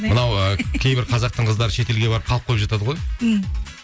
мынау ы кейбір қазақтың қыздары шетелге барып қалып қойып жатады ғой м